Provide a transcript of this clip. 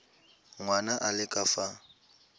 ngwana a le ka fa